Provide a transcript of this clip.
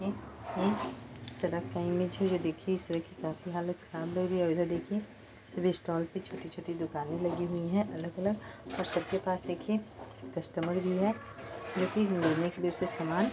यह सड़क दिखी जहा में हालत काफी हालत खरब लग रही है इधर देखए सभी स्टोर पे छोटी छोटी दुकान लगी हुयी है अलग अलग और सबके पास देखिये कस्टमर भी है सब लेने सामान--